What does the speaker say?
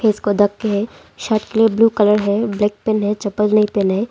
इसको देख के हैं शर्ट के ब्ल्यू कलर हैं ब्लैक पहने हैं चप्पल नहीं पहने हैं।